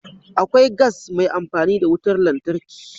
Akwai gas mai amfani da wutar lantarki.